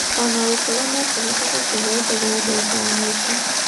Ona gũkorwo no kũhoteke kũheo thogora dagĩka ya mũico.